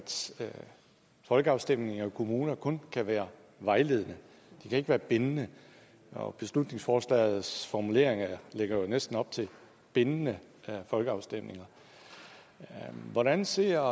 folkeafstemninger i kommuner kun kan være vejledende de kan ikke være bindende og beslutningsforslagets formuleringer lægger jo næsten op til bindende folkeafstemninger hvordan ser